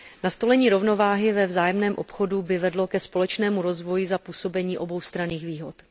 Nastolení rovnováhy ve vzájemném obchodu by vedlo ke společnému rozvoji za působení oboustranných výhod.